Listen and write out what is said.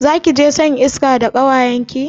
Zakije shan iska da kawayenki?